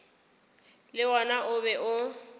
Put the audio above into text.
le wona o be o